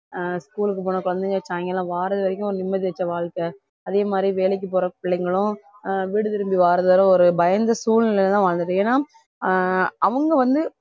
ஆஹ் school க்கு போன குழந்தைங்க சாயங்காலம் வர வரைக்கும் ஒரு நிம்மதி அடிச்ச வாழ்க்கை வேலைக்கு போற பிள்ளைங்களும் வீடு திரும்பி வாரதால ஒரு பயந்த சூழ்நிலையிலதான் வாழ்ந்துட்டு இருக்கோம் ஏன்னா ஆஹ் அவங்க வந்து